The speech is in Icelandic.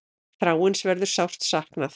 Þráins verður sárt saknað.